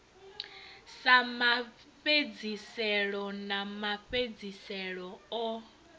sa mafhedziselo a mafhedziselo o